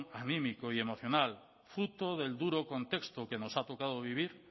anímico y emocional fruto del duro contexto que nos ha tocado vivir